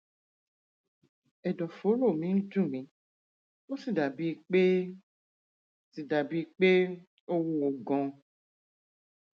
ẹdọfóró mi ń dùn mí ó sì dàbíi pé sì dàbíi pé ó wúwo ganan